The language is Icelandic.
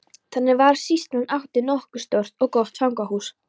Þannig var að sýslan átti nokkuð stórt og gott fangahús.